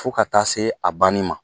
Fo ka taa se a banni ma.